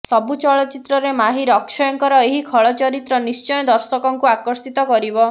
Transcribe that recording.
ସବୁ ଚରିତ୍ରରେ ମାହିର ଅକ୍ଷୟଙ୍କର ଏ ଖଳ ଚରିତ୍ର ନିଶ୍ଚୟ ଦର୍ଶକଙ୍କୁ ଆକର୍ଷିତ କରିବ